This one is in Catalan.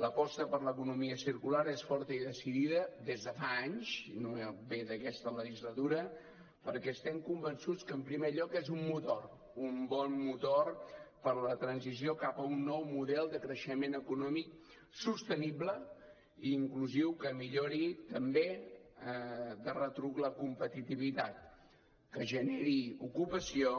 l’aposta per l’economia circular és forta i decidida des de fa anys no ve d’aquesta legislatura perquè estem convençuts que en primer lloc és un motor un bon motor per a la transició cap a un nou model de creixement econòmic sostenible i inclusiu que millori també de retruc la competitivitat que generi ocupació